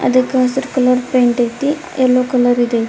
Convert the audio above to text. ಅದ್ಕ ಹಸೀರ್ colour paint ಆಯ್ತಿ ಯೆಲ್ಲೋ ಕಲರ್ ಈದ್ ಆಯ್ತಿ.